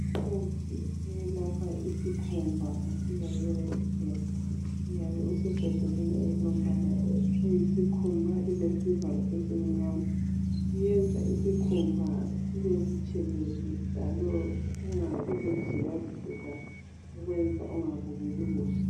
Umuthi oyelapha isikhumba kuthiwa yi REDKEN uyabe usebhodleleni elilombala oyisikhumba lilesivalo esimnyama uyenza isikhumba sibe butshelezi njalo kungabi lemizila zila ekwenza ungabukeki kuhle.